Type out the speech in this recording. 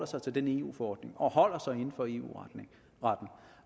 sig til den eu forordning og holder sig inden for eu retten